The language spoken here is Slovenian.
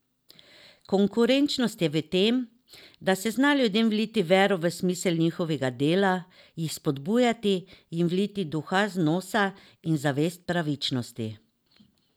Konkurenčnost je v tem, da se zna ljudem vliti vero v smisel njihovega dela, jih spodbuditi, jim vliti duha zanosa in zavest pravičnosti.